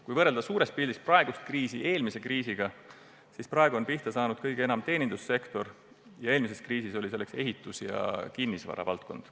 Kui võrrelda suures pildis praegust kriisi eelmise kriisiga, siis praegu on kõige enam pihta saanud teenindussektor, eelmise kriisi ajal oli selleks ehitus- ja kinnisvaravaldkond.